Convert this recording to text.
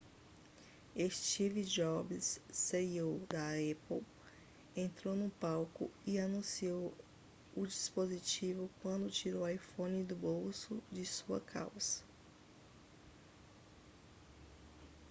steve jobs ceo da apple entrou no palco e anunciou o dispositivo quando tirou o iphone do bolso de sua calça